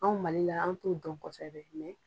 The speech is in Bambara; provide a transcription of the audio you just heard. Anw mali la an t'o dɔn kosɛbɛ mɛ